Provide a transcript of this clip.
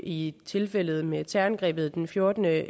i tilfældet med terrorangrebet den fjortende